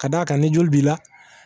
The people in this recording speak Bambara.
Ka d'a kan ni joli b'i la